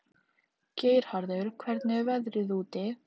Geirharður, hvernig er veðrið úti?